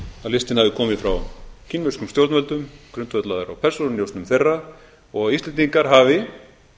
listinn hafi komið frá kínverskum stjórnvöldum grundvallaður á persónunjósnum þeirra og að íslendingar hafi